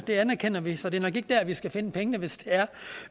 det anerkender vi så det er nok ikke der vi skal finde pengene hvis det er